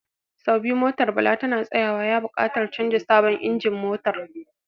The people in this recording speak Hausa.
Sau biyu motar Bala tana tsayawa, ya bukatar canza sabon injin motar.